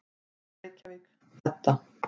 Reykjavík, Edda.